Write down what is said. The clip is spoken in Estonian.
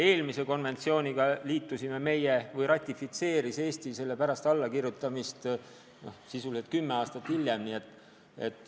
Eelmise konventsiooni ratifitseeris Eesti pärast selle allakirjutamist alles kümme aastat hiljem.